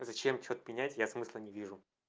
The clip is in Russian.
зачем что-то менять я смысла не вижу